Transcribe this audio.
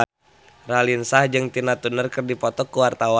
Raline Shah jeung Tina Turner keur dipoto ku wartawan